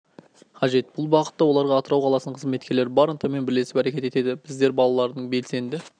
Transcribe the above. қажет бұл бағытта оларға атырау қаласының қызметкерлері бар ынтамен бірлесіп әрекет етеді біздер балалардың белсенді